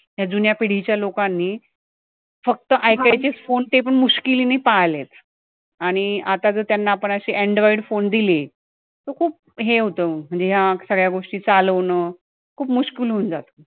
ह्या जुन्या पिढी च्या लोकांनी फक्त ऐकायचे च phone ते पण नि पाळलेत आणि आता जर त्यांना आपण अशे android phone दिले तर खूप हे होतं म्हणजे अं सगळ्या गोष्टी चालवणं खूप होऊन जातं